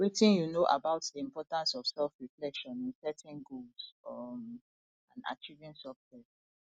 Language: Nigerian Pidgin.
wetin you know about di importance of selfreflection in setting goals um and achieving success